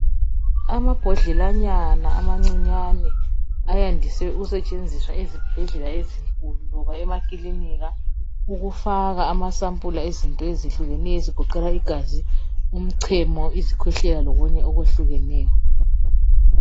Amabhodlelanyana amancinyane ayandiswe ukusetshenziswa ezibhedlela ezinkulu loba emakilinika ukufaka amasampula ezinto ezehlukeneyo ezigoqela igazi, umchemo , izikhwehlela lokunye okwehlukeneyo